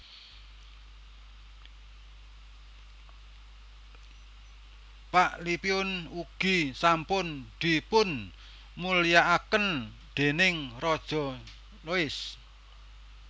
Paklipiun ugi sampun dipunmulyakaken déning Raja Louis